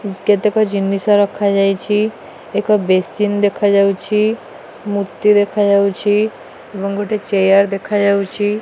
କେତେକ ଜିନିଷ ରଖା ଯାଇଚି। ଏକ ବେସିନ ଦେଖା ଯାଉଛି। ମୂର୍ତ୍ତି ଦେଖା ଯାଉଛି ଏବଂ ଗୋଟେ ଚେୟାର ଦେଖା ଯାଉଚି।